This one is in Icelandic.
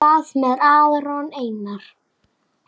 Hvað með Aron Einar?